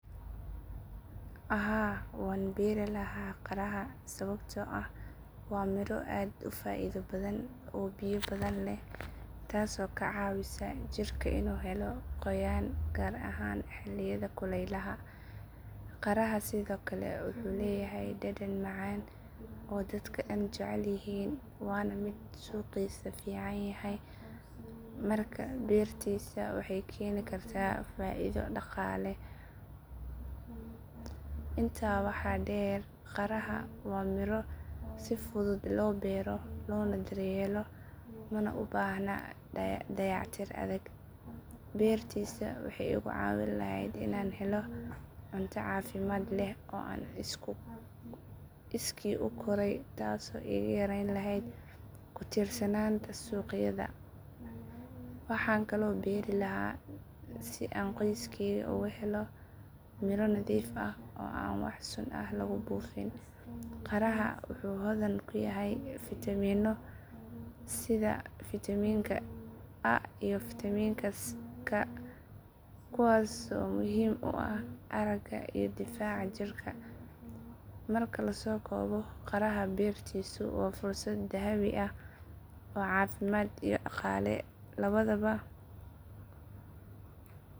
Haa waan beeri lahaa qaraha sababtoo ah waa miro aad u faa'iido badan oo biyo badan leh taasoo ka caawisa jirka inuu helo qoyaan gaar ahaan xilliyada kulaylaha. Qaraha sidoo kale wuxuu leeyahay dhadhan macaan oo dadka oo dhan jecel yihiin waana mid suuqiisa fiican yahay markaa beertiisa waxay keeni kartaa faa’iido dhaqaale. Intaa waxaa dheer qaraha waa miro si fudud loo beero loona daryeelo mana u baahna dayactir adag. Beertiisa waxay igu caawin lahayd inaan helo cunto caafimaad leh oo aan iskii u koray taasoo iga yareyn lahayd ku tiirsanaanta suuqyada. Waxaan kaloo beeri lahaa si aan qoyskeyga ugu helo miro nadiif ah oo aan wax sun ah lagu buufin. Qaraha wuxuu hodan ku yahay fiitamiinno sida fiitamiinka A iyo fiitamiinka C kuwaasoo muhiim u ah aragga iyo difaaca jirka. Marka la soo koobo qaraha beertiisu waa fursad dahabi ah oo caafimaad iyo dhaqaale labadaba ku jirto.